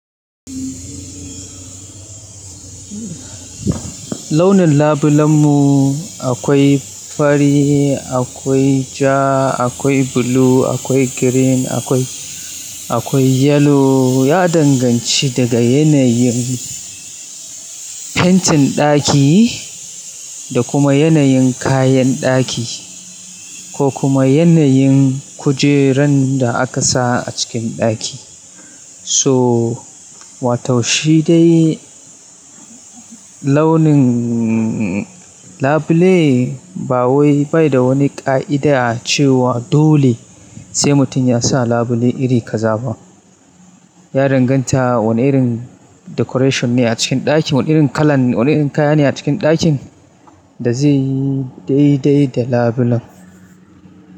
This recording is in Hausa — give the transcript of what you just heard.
Launin labulen mu akwai fari, akwai ja, akwai blue, akwai green, akwai, akwai yellow. Ya danganci daga yanayin fentin ɗaki da kuma yanayin kayan ɗaki, ko kuma yanayin kujerun da aka sa a cikin ɗaki, su so wato shi dai launin labule ba wai bai da wani ƙa'ida cewa dole sai mutum yasa labule iri kaza ba. Ya danganta wani irin decoration ne a cikin ɗakin, wani irin kalan, wane irin kaya ne a cikin ɗakin da zeyi dai dai da labulen.